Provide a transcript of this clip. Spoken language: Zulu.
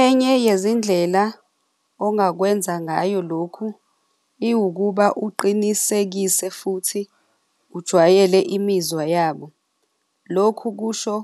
Enye yezindlela ongakwenza ngayo lokhu iwukuba uqinisekise futhi ujwayele imizwa yabo. Lokhu kusho